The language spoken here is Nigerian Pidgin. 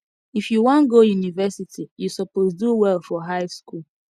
if you wan go university you suppose do well for high school